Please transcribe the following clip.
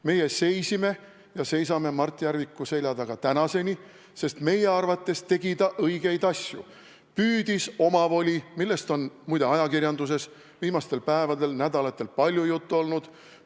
Meie seisime ja seisame Mart Järviku selja taga tänaseni, sest meie arvates tegi ta õigeid asju: püüdis selgusele jõuda omavolis, millest on muide ajakirjanduses viimastel päevadel ja nädalatel palju juttu olnud.